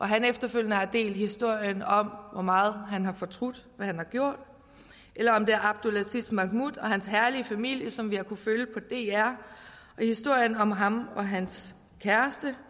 han efterfølgende har delt historien om hvor meget han har fortrudt hvad han har gjort eller om det er abdel aziz mahmoud og hans herlige familie som vi har kunnet følge på dr og historien om ham og hans kæreste